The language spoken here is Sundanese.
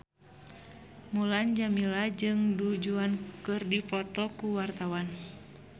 Mulan Jameela jeung Du Juan keur dipoto ku wartawan